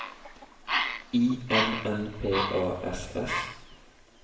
I N N P A S S